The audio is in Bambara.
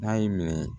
N'a y'i minɛ